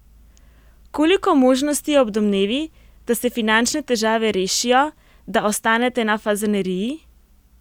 Koliko možnosti je ob domnevi, da se finančne težave rešijo, da ostanete na Fazaneriji?